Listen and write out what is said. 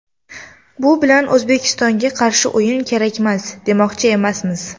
Bu bilan O‘zbekistonga qarshi o‘yin kerakmas, demoqchi emasmiz.